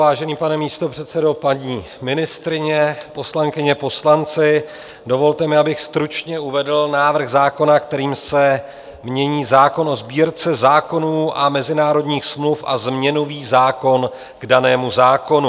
Vážený pane místopředsedo, paní ministryně, poslankyně, poslanci, dovolte mi, abych stručně uvedl návrh zákona, kterým se mění zákon o Sbírce zákonů a mezinárodních smluv a změnový zákon k danému zákonu.